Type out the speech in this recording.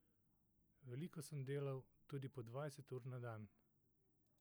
Veliko sem delal, tudi po dvajset ur na dan.